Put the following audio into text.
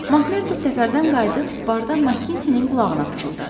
Makmerda səfərdən qayıdıb barda Makintinin qulağına pıçıldadı.